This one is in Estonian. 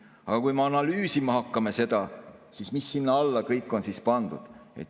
Aga hakkame analüüsima, mis sinna alla kõik on pandud.